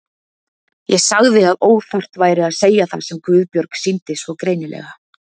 Ég sagði að óþarft væri að segja það sem Guðbjörg sýndi svo greinilega.